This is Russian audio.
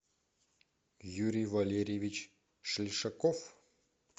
юрий валерьевич шельшаков